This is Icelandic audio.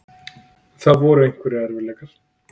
Það voru einhverjir erfiðleikar.